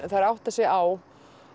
átta sig á